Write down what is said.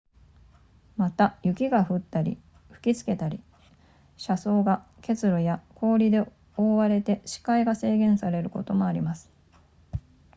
また雪が降ったり吹きつけたり車窓が結露や氷で覆われて視界が制限されることもあります